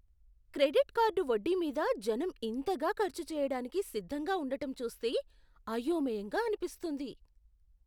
Credit card వడ్డీ మీద జనం ఇంతగా ఖర్చు చేయడానికి సిద్ధంగా ఉండటం చూస్తే అయోమయంగా అనిపిస్తుంది.